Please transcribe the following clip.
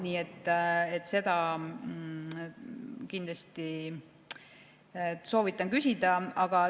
Nii et seda kindlasti soovitan küsida.